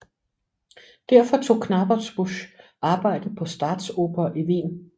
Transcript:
Derfor tog Knappertsbusch arbejde på Staatsoper i Wien